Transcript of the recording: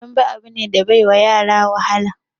Dambe abu ne da bai wa yara wahala